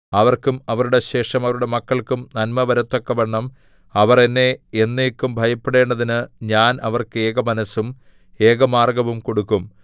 അവർക്കും അവരുടെ ശേഷം അവരുടെ മക്കൾക്കും നന്മവരത്തക്കവണ്ണം അവർ എന്നെ എന്നേക്കും ഭയപ്പെടേണ്ടതിന് ഞാൻ അവർക്ക് ഏകമനസ്സും ഏകമാർഗ്ഗവും കൊടുക്കും